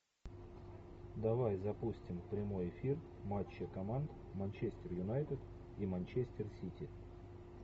давай запустим прямой эфир матча команд манчестер юнайтед и манчестер сити